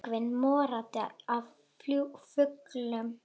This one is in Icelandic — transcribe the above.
Björgin morandi af fuglum.